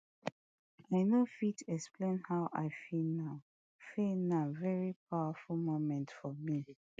i no fit explain how i feel na feel na veri powerful moment for me